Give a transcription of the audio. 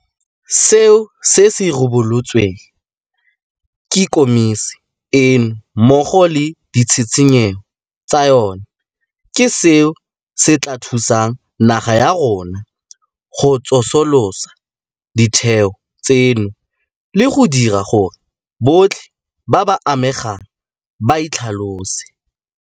Seo se ribolotsweng ke Khomišene eno mmogo le ditshitshinyo tsa yona ke seo se tla thusang naga ya rona go tsosolosa ditheo tseno le go dira gore botlhe ba ba amegang ba itlhalose.